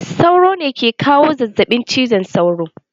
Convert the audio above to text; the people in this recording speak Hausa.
Sauro ne ke kawo zazzaɓin cizon sauro.